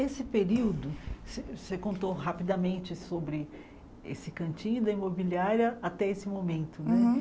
Esse período, você você contou rapidamente sobre esse cantinho da imobiliária até esse momento né uhum.